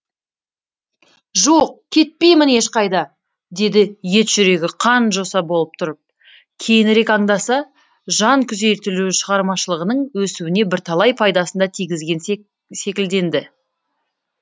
жоқ кептеймін ешқайда деді ет жүрегі қан жоса болып тұрып кейінірек аңдаса жан күйзелтуі шығармашылығының өсуіне бірталай пайдасын да тигізген секілденді